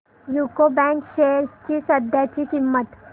UCO bank shares ची सध्याची किंमत